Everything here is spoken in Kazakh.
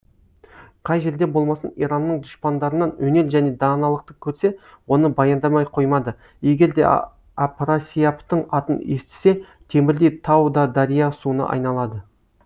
қай жерде болмасын иранның дұшпандарынан өнер және даналықты көрсе оны баяндамай қоймады егер де апрасияптың атын естісе темірдей тау да дария суына айналады